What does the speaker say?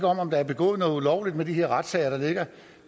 om der er begået noget ulovligt når de retssager der ligger